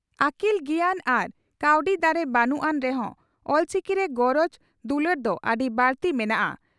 ᱟᱹᱠᱤᱞ ᱜᱮᱭᱟᱱ ᱟᱨ ᱠᱟᱹᱣᱰᱤ ᱫᱟᱲᱮ ᱵᱟᱹᱱᱩᱜ ᱟᱱ ᱨᱮᱦᱚᱸ ᱚᱞᱪᱤᱠᱤᱨᱮ ᱜᱚᱨᱚᱡᱽ ᱫᱩᱞᱟᱹᱲ ᱫᱚ ᱟᱹᱰᱤ ᱵᱟᱹᱲᱛᱤ ᱢᱮᱱᱟᱜᱼᱟ ᱾